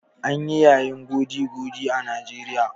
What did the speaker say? An yi yayin goody-goody a Najeriya.